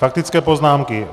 Faktické poznámky.